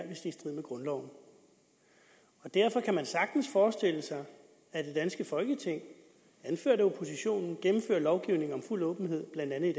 i strid med grundloven derfor kan man sagtens forestille sig at det danske folketing anført af oppositionen gennemfører lovgivning om fuld åbenhed